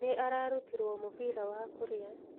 Nĩ ararutirwo mũbira wa kurĩa.